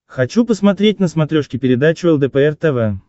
хочу посмотреть на смотрешке передачу лдпр тв